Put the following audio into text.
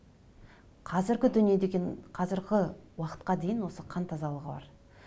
қазіргі дүние деген қазіргі уақытқа дейін осы қан тазалығы бар